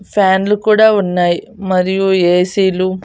ఫ్యాన్లు కూడా ఉన్నాయ్ మరియు ఏ సీ లు --